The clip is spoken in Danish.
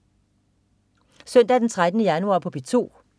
Søndag den 13. januar - P2: